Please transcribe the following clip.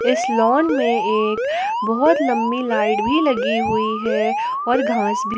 इस लॉन में एक बहोत लंबी लाइट भी लगी हुई है और घास भी--